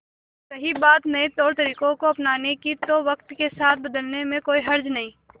और रही बात नए तौरतरीकों को अपनाने की तो वक्त के साथ बदलने में कोई हर्ज नहीं